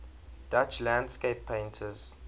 dutch landscape painters